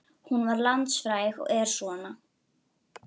Og mun þetta ekki bara halda áfram að lengjast, biðlistarnir?